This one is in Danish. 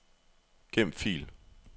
Gem fil.